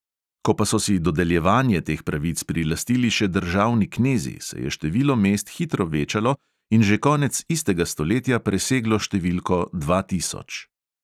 Ko pa so si dodeljevanje teh pravic prilastili še državni knezi, se je število mest hitro večalo in že konec istega stoletja preseglo številko dva tisoč.